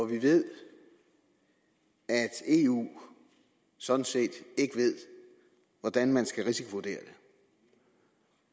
vi ved at eu sådan set ikke ved hvordan man skal risikovurdere